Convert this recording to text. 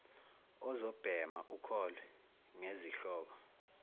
uzobhema ukholwe ngezihloko